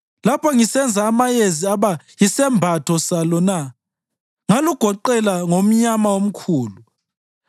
lapho ngisenza amayezi aba yisembatho salo na ngalugoqela ngomnyama omkhulu,